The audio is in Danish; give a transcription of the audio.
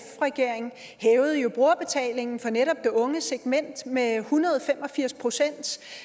regering hævede jo brugerbetalingen for netop det unge segment med en hundrede og fem og firs procent